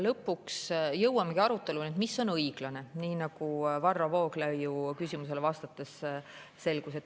Lõpuks jõuamegi aruteluni selle üle, mis on õiglane, nii nagu Varro Vooglaiu küsimusele vastates selgus.